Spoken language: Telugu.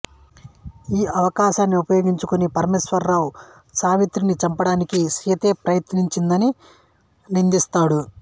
ఈ అవకాశాన్ని ఉపయోగించుకుని పరమేశ్వరరావు సావిత్రిని చంపడానికి సీతే ప్రయత్నించిందని నిందిస్తాడు